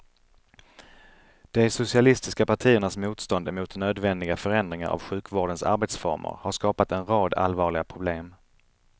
De socialistiska partiernas motstånd emot nödvändiga förändringar av sjukvårdens arbetsformer har skapat en rad allvarliga problem.